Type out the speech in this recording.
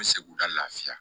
N bɛ segu lafiya